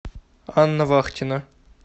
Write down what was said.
анна вахтина